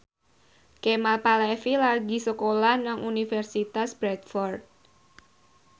Kemal Palevi lagi sekolah nang Universitas Bradford